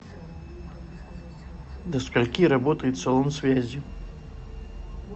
до скольки работает салон связи